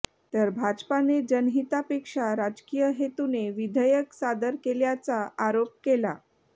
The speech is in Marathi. तर भाजपाने जनहितापेक्षा राजकिय हेतूने विधेयक सादर केल्याचा आरोप केला